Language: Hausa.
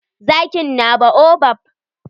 Zakin na baobab.